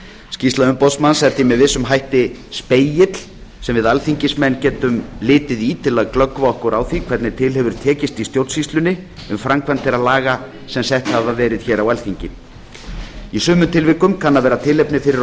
skýrsla umboðsmanns er því með vissum hætti spegill sem við alþingismenn getum litið í til að glöggva okkur á því hvernig til hefur tekist í stjórnsýslunni um framkvæmd þeirra laga sem sett hafa verið hér á alþingi í sumum tilvikum kann að vera tilefni fyrir